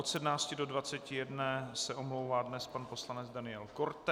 Od 17 do 21 se omlouvá dnes pan poslanec Daniel Korte.